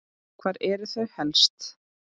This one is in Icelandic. Hvar eru þau helst?